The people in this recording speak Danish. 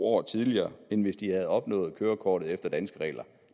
år tidligere end hvis de havde opnået kørekortet efter danske regler